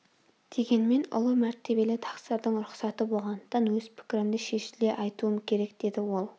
дегенмен ұлы мәртебелі тақсырдың рұқсаты болғандықтан өз пікірімді шешіле айтуым керек деді ол